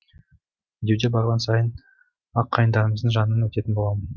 медеуге барған сайын ақ қайыңдарымыздың жанынан өтетін боламын